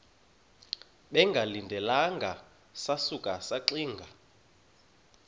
bengalindelanga sasuka saxinga